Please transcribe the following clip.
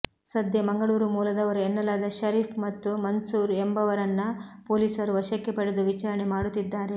ಸದ್ಯ ಮಂಗಳೂರು ಮೂಲದವರು ಎನ್ನಲಾದ ಷರೀಫ್ ಹಾಗು ಮನ್ಸೂರ್ ಎಂಬವರನ್ನ ಪೊಲೀಸರು ವಶಕ್ಕೆ ಪಡೆದು ವಿಚಾರಣೆ ಮಾಡುತ್ತಿದ್ದಾರೆ